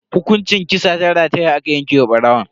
Hukunci kisa ta rataya aka yanke wa barawon.